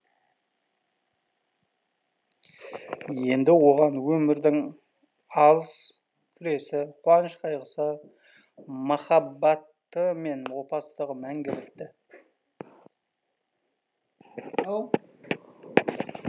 енді оған өмірдің алыс күресі қуаныш қайғысы махаббаты мен опасыздығы мәңгі бітті